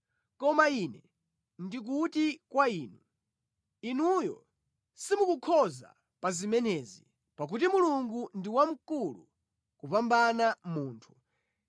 “Koma ine ndi kuti kwa inu, inuyo simukukhoza pa zimenezi, pakuti Mulungu ndi wamkulu kupambana munthu.